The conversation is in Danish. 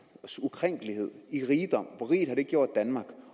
ukrænkelighed i rigdom hvor rig den har gjort danmark